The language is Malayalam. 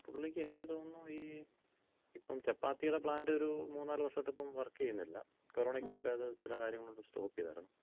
പുള്ളിക്ക് എനിക്ക് തോന്നുന്നു ,ഈ ഇപ്പം ചപ്പാത്തിടെ പ്ലാന്‍റ് ഒരു മൂന്ന് നാലുവർഷായിട്ട് ഇപ്പൊ വർക്ക് ചെയ്യുന്നില്ല. കൊറോണയ്ക്ക് മുമ്പേ അത് ചെല കാര്യങ്ങള് കൊണ്ട് സ്റ്റോപ്പ് ചെയ്താരുന്നു.